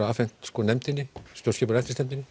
afhent nefndinni stjórnskipunar